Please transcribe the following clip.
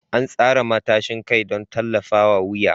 An tsara matashin kai don tallafawa wuya.